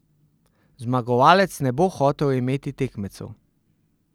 Zmagovalec ne bo hotel imeti tekmecev.